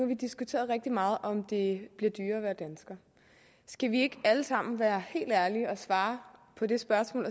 vi diskuteret rigtig meget om det bliver dyrere at være dansker skal vi ikke alle sammen være helt ærlige og svare på det spørgsmål